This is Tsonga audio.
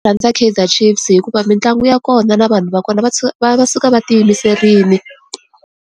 Rhandza Kaizer Chiefs hikuva mitlangu ya kona na vanhu va kona va va suka va ti yimiserile.